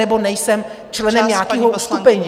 ... nebo nejsem členem nějakého uskupení.